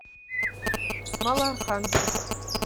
малоархангельск